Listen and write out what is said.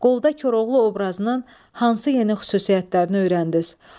Qolda Koroğlu obrazının hansı yeni xüsusiyyətlərini öyrəndiniz?